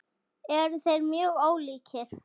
Eru þeir mjög ólíkir?